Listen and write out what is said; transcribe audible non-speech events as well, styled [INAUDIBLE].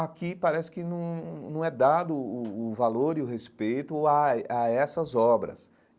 aqui parece que não não é dado o o o valor e o respeito a [UNINTELLIGIBLE] a essas obras.